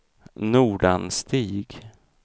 Nordanstig